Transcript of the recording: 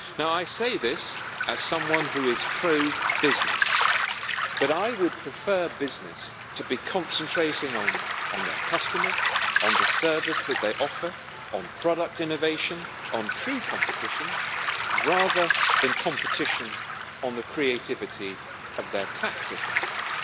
I say this as someone who is pro business, but I would prefer businesses to be concentrating on their customers on the services they offer, on product innovation, on true competition rather than the competition of the creativity of their tax advisers.